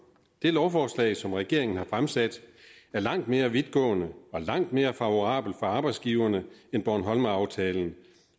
det lovforslag som regeringen har fremsat er langt mere vidtgående og langt mere favorabelt for arbejdsgiverne end bornholmeraftalen